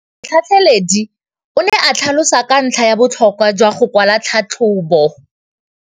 Motlhatlheledi o ne a tlhalosa ka ntlha ya botlhokwa jwa go kwala tlhatlhôbô.